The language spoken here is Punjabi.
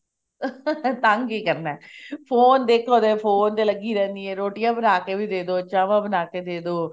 ਤੰਗ ਹੀ ਕਰਨਾ phone ਦੇਖਲੋ phone ਤੇ ਲੱਗੀ ਰਹਿੰਦੀ ਹਾਂ ਰੋਟੀਆਂ ਬਣਾ ਕੇ ਵੀ ਦੇਦੋ ਚਾਵਾਂ ਬਣਾ ਕੇ ਦੇਦੋ